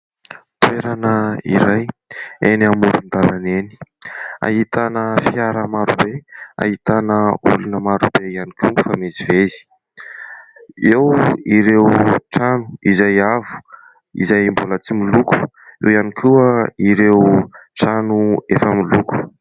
Toerana iray eny amoron-dalana eny ahitana fiara maro be, ahitana olona maro be ihany koa mifamezivezy, eo ireo trano izay avo izay mbola tsy miloko, eo ihany koa ireo trano efa miloko.